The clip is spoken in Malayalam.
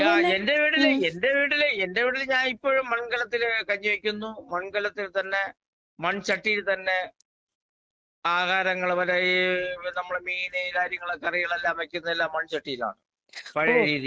ഞാൻ എന്റെ വീട്ടില് എന്റെ വീട്ടില് എന്റെ വീട്ടില് ഞാൻ ഇപ്പഴും മൺകലത്തില് കഞ്ഞിവെക്കുന്നു, മൺകലത്തിൽ തന്നെ മൺചട്ടിയിൽ തന്നെ ആഹാരങ്ങള് മറ്റേ ഈ നമ്മുടെ മീന് കാര്യങ്ങള് കറികളെല്ലാം വെയ്ക്കുന്നതെല്ലാം മൺചട്ടിയിലാണ് പഴയ രീതീല്.